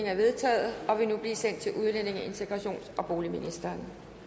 er vedtaget og vil nu blive sendt til udlændinge integrations og boligministeren